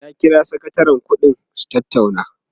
ya kira sakatarin ƙuɗi su tattauna